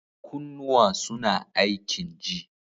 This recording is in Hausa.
Kunnuwa suna aikin ji.